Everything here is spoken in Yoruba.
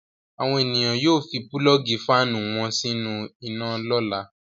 Àwọn ènìyàn yóò fi pulọ́ọ́gì fáánù wọn sínú iná lọ́la.